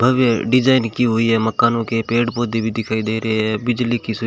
भव्य design की हुई है मकानों के पेड़ पौधे भी दिखाई दे रहे हैं बिजली की सुव--